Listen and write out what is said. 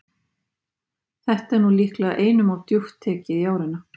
Þetta er nú líklega einum of djúpt tekið í árina.